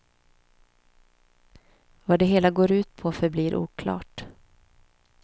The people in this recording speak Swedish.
Vad det hela går ut på förblir oklart.